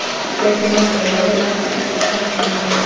Ég kveið því mest að verða ein aftur eftir að skemmtuninni lyki.